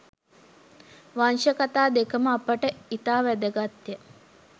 වංශකථා දෙකම අපට ඉතා වැදගත්ය.